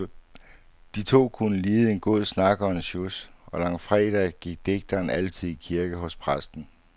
De to kunne lide en god snak og en sjus, og langfredag gik digteren altid i kirke hos præsten.